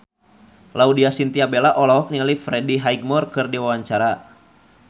Laudya Chintya Bella olohok ningali Freddie Highmore keur diwawancara